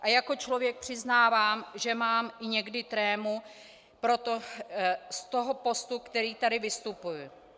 A jako člověk přiznávám, že mám někdy i trému z toho postu, který tady zastupuji.